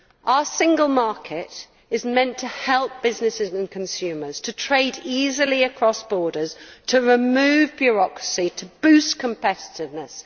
Our single market is meant to help businesses and consumers to trade easily across borders, to remove bureaucracy, to boost competitiveness.